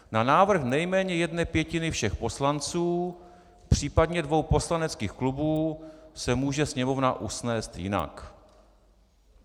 Na návrh nejméně jedné pětiny všech poslanců, případně dvou poslaneckých klubů, se může Sněmovna usnést jinak."